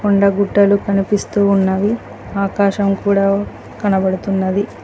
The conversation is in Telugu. కొండ గుట్టలు కనిపిస్తూ ఉన్నవి ఆకాశం కూడా కనబడుతున్నది.